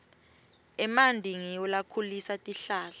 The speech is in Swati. emanti ngiwo lakhulisa tihlahla